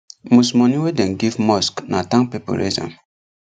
most money wey dem give mosque na town people raise am